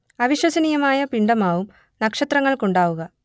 അവിശ്വസനീയമായ പിണ്ഡമാവും നക്ഷത്രങ്ങൾക്കുണ്ടാവുക